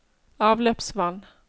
avløpsvann